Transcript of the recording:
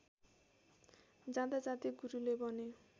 जाँदाजाँदै गुरुले भने